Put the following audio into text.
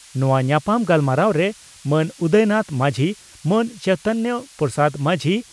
ᱱᱚᱣᱟ ᱧᱟᱯᱟᱢ ᱜᱟᱞᱢᱟᱨᱟᱣ ᱨᱮ ᱢᱟᱱ ᱩᱫᱟᱭᱱᱟᱛᱷ ᱢᱟᱹᱡᱷᱤ ᱢᱟᱱ ᱪᱚᱭᱤᱛᱚᱱᱭᱚ ᱯᱨᱚᱥᱟᱫᱽ ᱢᱟᱹᱡᱷᱤ